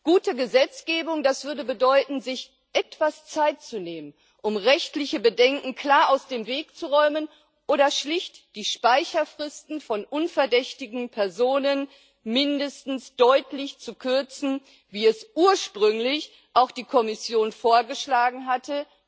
Gute Gesetzgebung würde bedeuten, sich etwas Zeit zu nehmen, um rechtliche Bedenken klar aus dem Weg zu räumen oder schlicht die Speicherfristen von unverdächtigen Personen mindestens deutlich zu kürzen, wie es ursprünglich auch die Kommission vorgeschlagen hatte.